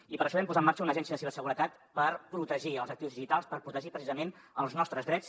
i per això vam posar en marxa una agència de ciberseguretat per protegir els actius digitals per protegir precisament els nostres drets